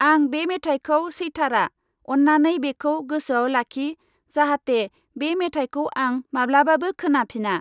आं बे मेथायखौ सैथारा। अन्नानै बेखौ गोसोआव लाखि जाहाथे बे मेथायखौ आं माब्लाबाबो खोनाफिना।